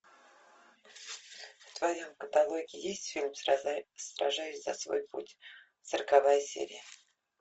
в твоем каталоге есть фильм сражаясь за свой путь сороковая серия